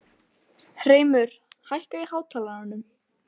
Hreimur, hækkaðu í hátalaranum.